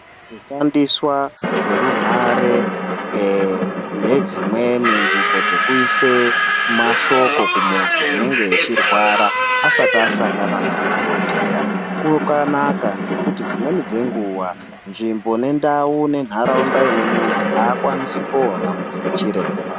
Kushandiswa kwerunhare nedzimweni nzvimbo dzekuise mashoko kumunthu unenge echirwara asati asangana na dhokhoteya kwakanaka ngekuti dzimweni dzenguwa nzvimbo nendau nentharauda ine munthu aakwanisi koona chiremba.